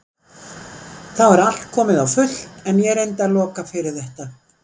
Þá var allt komið á fullt en ég reyndi að loka fyrir þetta.